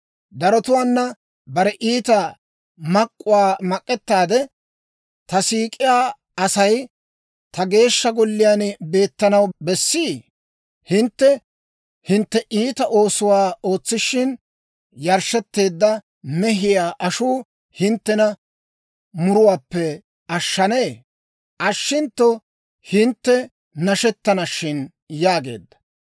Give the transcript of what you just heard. «Darotuwaana bare iita mak'k'uwaa mak'k'ettiide ta siik'iyaa Asay ta Geeshsha Golliyaan beettanaw bessii? Hintte hintte iita oosuwaa ootsishin, yarshshetteedda mehiyaa ashuu hinttena muruwaappe ashshanee? Ashshintto hintte nashettana shin» yaageedda.